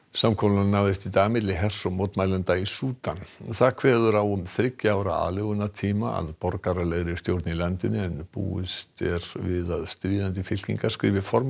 samkomulag náðist í dag milli hers og mótmælenda í Súdan það kveður á um þriggja ára aðlögunartíma að borgaralegri stjórn í landinu en búist er við að stríðandi fylkingar skrifi formlega